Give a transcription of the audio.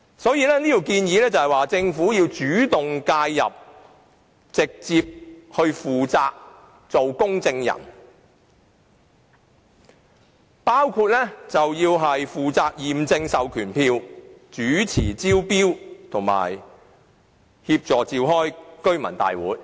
因此，我們建議政府主動介入，負起直接的責任，擔任公證人角色，包括負責驗證授權書、主持招標，以及協助召開居民大會。